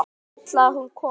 Vill að hún komi.